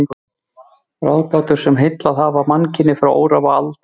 Ráðgátur, sem heillað hafa mannkynið frá örófi alda.